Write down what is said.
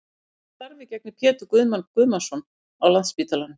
Hvaða starfi gegnir Pétur Guðmann Guðmannsson á Landspítalanum?